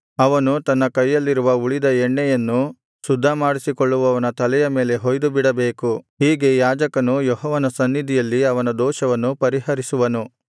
ಅವನು ತನ್ನ ಕೈಯಲ್ಲಿರುವ ಉಳಿದ ಎಣ್ಣೆಯನ್ನು ಶುದ್ಧಮಾಡಿಸಿಕೊಳ್ಳುವವನ ತಲೆಯ ಮೇಲೆ ಹೊಯ್ದುಬಿಡಬೇಕು ಹೀಗೆ ಯಾಜಕನು ಯೆಹೋವನ ಸನ್ನಿಧಿಯಲ್ಲಿ ಅವನ ದೋಷವನ್ನು ಪರಿಹರಿಸುವನು